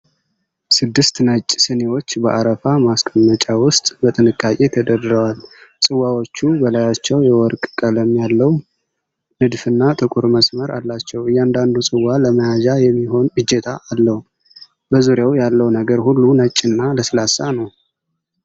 ስድስት ነጭ ስኒዎች በአረፋ ማስቀመጫ ውስጥ በጥንቃቄ ተደርድረዋል። ጽዋዎቹ በላያቸው የወርቅ ቀለም ያለው ንድፍና ጥቁር መስመር አላቸው። እያንዳንዱ ጽዋ ለመያዣ የሚሆን እጀታ አለው። በዙሪያው ያለው ነገር ሁሉ ነጭና ለስላሳ ነው።